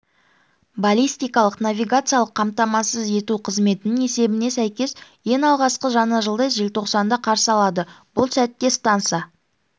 баллистикалық-навигациялық қамтамасыз ету қызметінің есебіне сәйкес ең алғашқы жаңа жылды желтоқсанда қарсы алады бұл сәтте станса